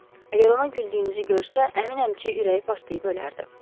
Əgər ona güldüyünüzü görsə, əminəm ki, ürəyi partlayıb ölərdi.